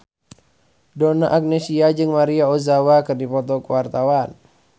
Donna Agnesia jeung Maria Ozawa keur dipoto ku wartawan